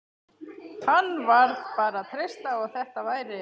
Hann varð bara að treysta á að þetta væri